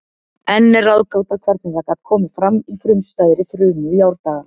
Enn er ráðgáta hvernig það gat komið fram í frumstæðri frumu í árdaga.